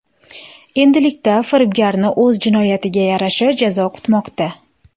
Endilikda firibgarni o‘z jinoyatiga yarasha jazo kutmoqda.